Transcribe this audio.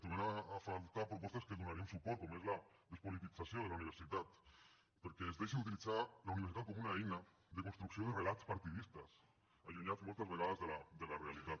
trobem a faltar propostes a què donaríem suport com és la despolitització de la universitat perquè es deixi d’utilitzar la universitat com una eina de construcció de relats partidistes allunyats moltes vegades de la realitat